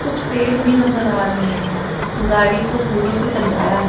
कुछ पेड़ भी नजर आ रहे हैं गाड़ी को फूलों से सजाया है।